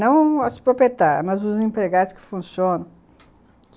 Não as proprietárias, mas os empregados que funcionam.